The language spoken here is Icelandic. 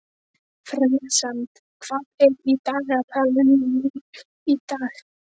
Friðsemd, hvað er í dagatalinu mínu í dag?